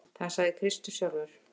Það sagði Kristur sjálfur.